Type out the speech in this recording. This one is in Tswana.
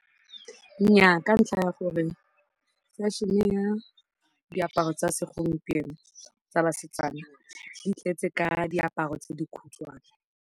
Nnyaa ka ntlha ya gore fashion-e ya diaparo tsa segompieno tsa basetsana di tletse ka diaparo tse dikhutshwane.